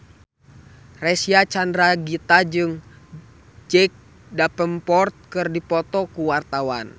Reysa Chandragitta jeung Jack Davenport keur dipoto ku wartawan